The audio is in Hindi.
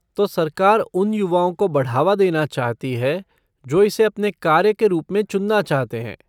तो सरकार उन युवाओं को बढ़ावा देना चाहती है जो इसे अपने कार्य के रूप में चुनना चाहते हैं।